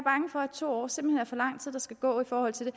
to år simpelt hen er for lang tid der skal gå i forhold til